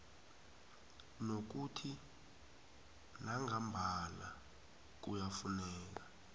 nokuthi nangambala kuyafuneka